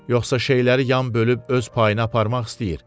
Yoxsa şeyləri yan bölüb öz payına aparmaq istəyir?